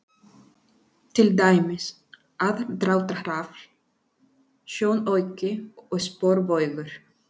Til dæmis: aðdráttarafl, sjónauki og sporbaugur.